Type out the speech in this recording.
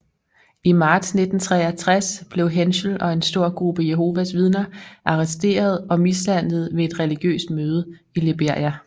I marts 1963 blev Henschel og en stor gruppe Jehovas Vidner arresteret og mishandlet ved et religiøst møde i Liberia